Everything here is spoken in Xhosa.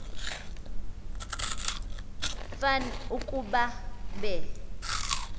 fan ukuba be